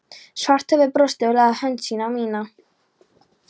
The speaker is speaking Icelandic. Svarthöfði brosti og lagði hönd sína á mína